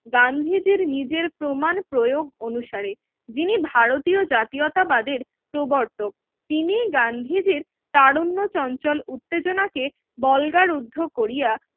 গান্ধীজির নিজের প্রমান প্রয়োগ অনুসারে যিনি ভারতীয় জাতীয়তাবাদের প্রবর্তক তিনি গান্ধীজির তার অন্য চঞ্চল উত্তেজনাকে বলগার উদ্ধে করিয়া